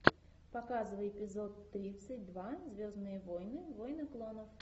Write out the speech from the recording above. показывай эпизод тридцать два звездные войны войны клонов